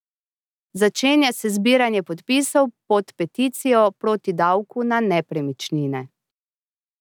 Začenja se zbiranje podpisov pod peticijo proti davku na nepremičnine.